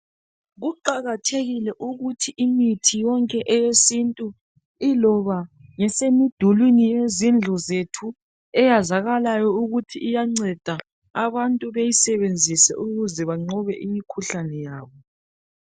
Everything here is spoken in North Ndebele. Kuqakathekile ukuthi imithi yonke eyesintu iloba ngesemidulini yezindlu zethu eyazakalayo ukuthi iyanceda abantu beyisebenzise ukuze banqobe imikhuhlane yabo.